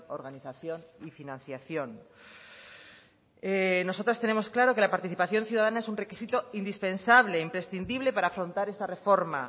organización y financiación nosotras tenemos claro que la participación ciudadana es un requisito indispensable imprescindible para afrontar esta reforma